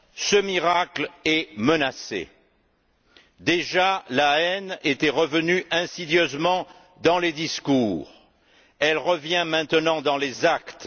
Ce miracle est menacé. Déjà la haine était revenue insidieusement dans les discours, elle revient maintenant dans les actes.